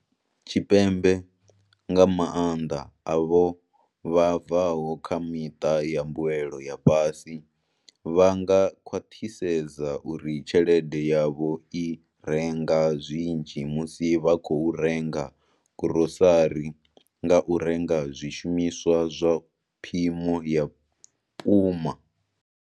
Tshipembe, nga maanḓa avho vha bvaho kha miṱa ya mbuelo ya fhasi, vha nga khwaṱhisedza uri tshelede yavho i renga zwinzhi musi vha khou renga gurosari nga u renga zwishumiswa zwa phimo ya puma.